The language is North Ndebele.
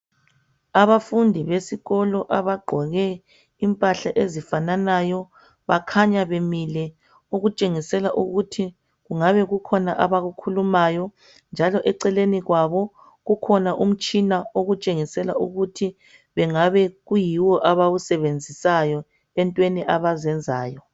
Abafundi besikolo abagqoke imphahla ezifananayo, bakhanya bemile, okutshengisela ukuthi kungabe kukhona abakukhulumayo, njalo eceleni kwabo kukhona umtshina okutshengisela ukuthi bengabe kuyiwo abawusebenzisayo etweni abaziyenzayo.